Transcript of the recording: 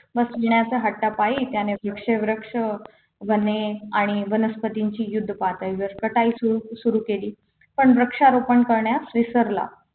वसविण्याच्या हट्टापायी वृक्ष वृक्ष वने आणि वनस्पतींची युद्ध पातळीवर कटाई सुरू सुरु केली पण वृक्षारोपण करण्यास विसरला